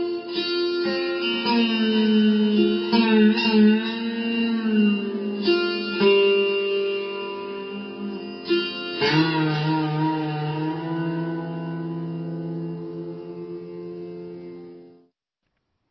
sound clip 21 second instrument 'Sur Singar', artist Joy Deep Mukherjee